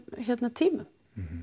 tímum